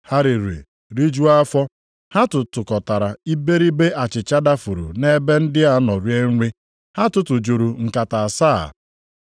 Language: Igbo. Ha riri, rijuo afọ. Ha tụtụkọtara iberibe achịcha dafuru nʼebe ndị a nọ rie nri. Ha tụtụjuru nkata asaa.